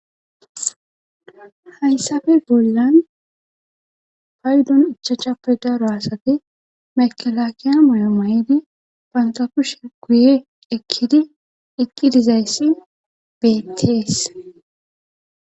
Hayssafe bollan paydon ichachape daro asati makalaakiya moy7o ma7idi panta kushe guye ekkidi ekki dizayssi bettees.